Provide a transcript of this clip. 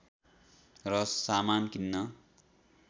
र सामान किन्न